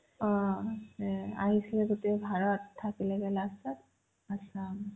অ সেয়াই আহিছিলে গোটেই ভাৰত থাকিলে গৈ last ত assam